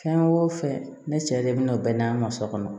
Fɛn o fɛn ne cɛ de bi na bɛɛ n'a ka so kɔnɔ